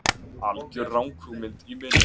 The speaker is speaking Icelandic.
algjör ranghugmynd í minni.